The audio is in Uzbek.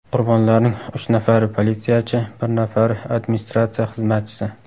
Qurbonlarning uch nafari politsiyachi, bir nafari administratsiya xizmatchisi .